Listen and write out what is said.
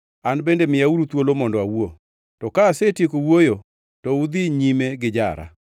An bende miyauru thuolo mondo awuo, to ka asetieko wuoyo, to udhi nyime gijara.